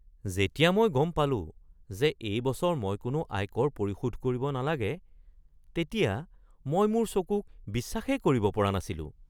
যেতিয়া মই গম পালোঁ যে এই বছৰ মই কোনো আয়কৰ পৰিশোধ কৰিব নালাগে তেতিয়া মই মোৰ চকুক বিশ্বাসেই কৰিব পৰা নাছিলোঁ!